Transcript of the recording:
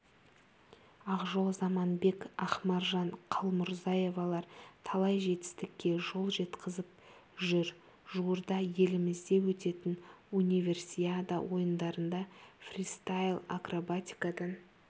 ақжол заманбек ақмаржан қалмұрзаевалар талай жетістікке қол жеткізіп жүр жуырда елімізде өтетін универсиада ойындарында фристайл-акробатикадан